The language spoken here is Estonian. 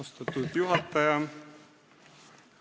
Austatud juhataja!